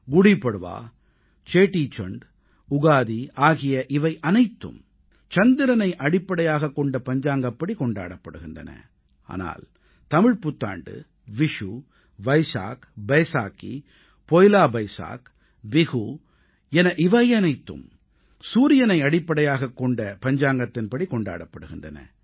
குடீ பட்வா சேடீசண்ட் உகாதி ஆகிய இவையனைத்தும் சந்திரனை அடிப்படையாகக் கொண்ட பஞ்சாங்கப்படி கொண்டாடப்படுகின்றன ஆனால் தமிழ்ப்புத்தாண்டு விஷு வைசாக் பைசாகீ பொய்லா பைசாக் பிஹு என இவையனைத்தும் சூரியனை அடிப்படையாகக் கொண்ட பஞ்சாங்கத்தின் படி கொண்டாடப்படுகின்றன